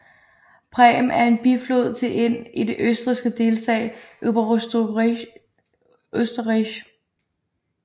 Pram er en biflod til Inn i den østrigske delstat Oberösterreich